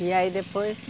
E aí depois?